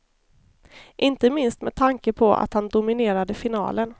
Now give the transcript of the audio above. Inte minst med tanke på att han dominerade finalen.